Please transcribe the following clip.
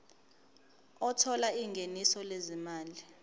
othola ingeniso lezimali